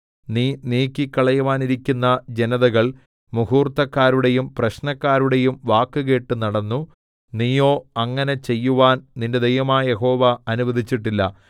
നീ നീക്കിക്കളയുവാനിരിക്കുന്ന ജനതകൾ മുഹൂർത്തക്കാരുടെയും പ്രശ്നക്കാരുടെയും വാക്കുകേട്ട് നടന്നു നീയോ അങ്ങനെ ചെയ്യുവാൻ നിന്റെ ദൈവമായ യഹോവ അനുവദിച്ചിട്ടില്ല